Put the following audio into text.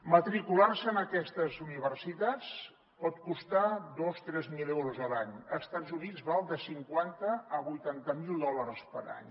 matricular se en aquestes universitats pot costar dos tres mil euros a l’any a estats units val de cinquanta a vuitanta mil dòlars per any